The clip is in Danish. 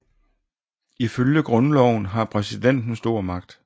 Ifølge grundloven har præsidenten stor magt